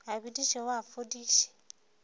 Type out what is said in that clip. a bediše o a fodiše